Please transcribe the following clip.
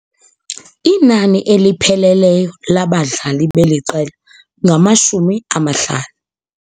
Inani elipheleleyo labadlali beli qela ngamashumi amahlanu.